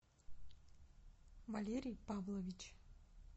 валерий павлович